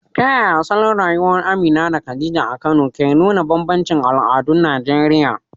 Ta yaya salon rayuwar Amina da Khadija a Kano ke nuna bambancin al'adun Najeriya?